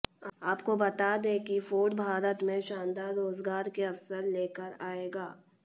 आपकों बतां दें कि फोर्ड भारत में शानदार रोजगार के अवसर ले कर आयेगा